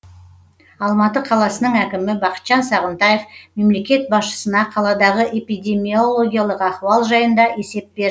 алматы қаласының әкімі бақытжан сағынтаев мемлекет басшысына қаладағы эпидемиологиялық ахуал жайында есеп берді